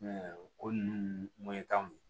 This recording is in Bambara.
ko ninnu